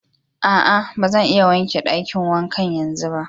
Aa, ba zan iya wanke dakin wankan yanzun ba.